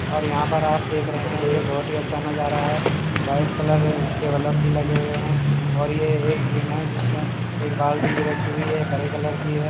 और यहां पर आप देख रहे हैंयह बहुत ही अच्छा नजारा है वाइट कलर के वलप भी लगे हुए हैंऔर यह एक जिम है जिसमें एक बाल्टी भी रखी हुई हैकरे कलर की है।